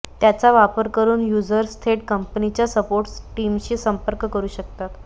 त्याचा वापर करून युजर्स थेट कंपनीच्या सपोर्ट टीमशी संपर्क करू शकतात